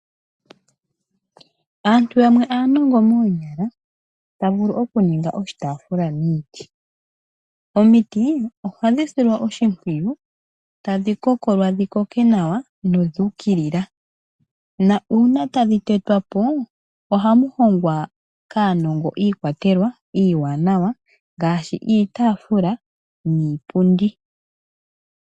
Aantu yamwe aanongo moonyala ta vulu oku niga oshitaaafula miiti . Omiti ohadhi silwa oshimpwiyu tadhi kokolwa dhi koke nawa noku ukilila ,na uuna tadhi tetwapo ohamuhongwa kaanongo iikwatelwa iiwanawa ngaashi iitaafula niipundi.